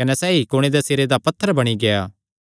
कने सैई कुणे दे सिरे दा पत्थर बणी गेआ